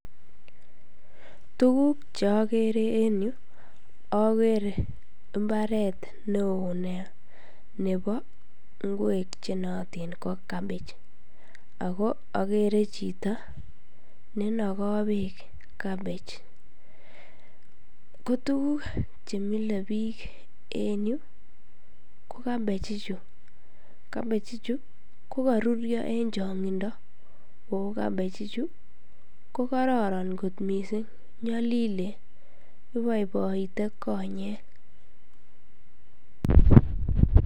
Tuguk cheakere en yu akere mbaret neo nebo ngwek chenootin ko cabbage ako akere chito nenoko beek cabbage ko tukuk chemile biik en yu ko cabbage ichu cabbage ichu kokorurio en chong'indo ako cabbage ichu ko kororon kot missing konyolilen iboiboite konyek.